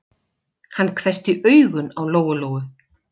Hann hvessti augun á Lóu-Lóu.